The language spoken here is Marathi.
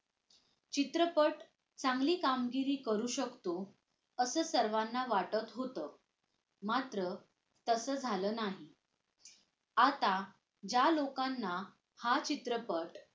चित्रपट चांगली कामगिरी करू शकतो असं सर्वांना वाटत होतं मात्र तसं झालं नाही आता ज्या लोकांना हा चित्रपट